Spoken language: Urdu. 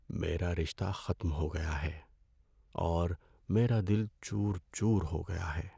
ہمارا رشتہ ختم ہو گیا ہے اور میرا دل چور چور ہو گیا ہے۔